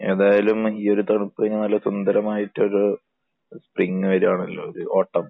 ഏതായാലും ഈ ഒരു തണുപ്പ് കഴിഞ്ഞാൽ സുന്ദരമായിട്ട് ഒരു സ്പ്രിങ് വരികയാണല്ലോ. ഓട്ടം.